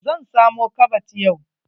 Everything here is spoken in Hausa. Zan samo kabad yau.